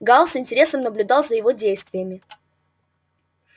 гаал с интересом наблюдал за его действиями